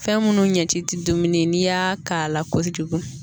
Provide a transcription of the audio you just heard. Fɛn minnu ɲɛ ti dumuni n'i y'a k'a la kojugu